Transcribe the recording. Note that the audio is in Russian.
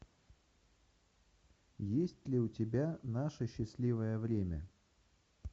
есть ли у тебя наше счастливое время